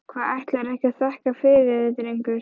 Hvað, ætlarðu ekki að þakka fyrir þig drengur?